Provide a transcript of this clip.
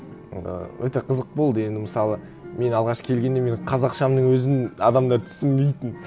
ы өте қызық болды енді мысалы мен алғаш келгенде менің қазақшамның өзін адамдар түсінбейтін